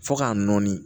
Fo k'a nɔɔni